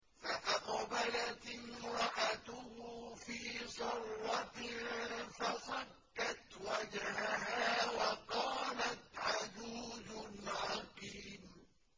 فَأَقْبَلَتِ امْرَأَتُهُ فِي صَرَّةٍ فَصَكَّتْ وَجْهَهَا وَقَالَتْ عَجُوزٌ عَقِيمٌ